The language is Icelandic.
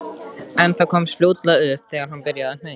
En það komst fljótlega upp þegar hann byrjaði að hneggja.